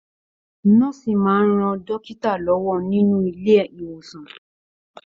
Nọ̀ọ́si máa n rán dókítà lọwọ nínú ilé ìwòsan.